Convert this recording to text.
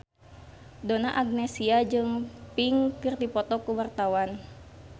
Donna Agnesia jeung Pink keur dipoto ku wartawan